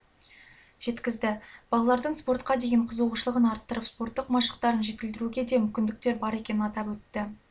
жеткізді балалардың спортқа деген қызығушылығын арттырып спорттық машықтарын жетілдіруге де мүмкіндіктер бар екенін атап өтті